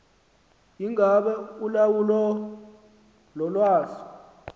ingaba ulawulo lolwazi